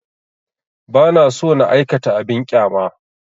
Ba na so na aikata abin ƙyama